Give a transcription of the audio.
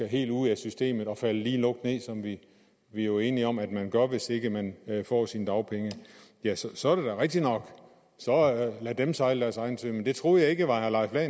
helt ud af systemet og falde lige lukt ned som vi vi jo er enige om at man gør hvis ikke man får sine dagpenge så er det da rigtigt nok så lad dem sejle deres egen sø men det troede jeg ikke var herre leif lahn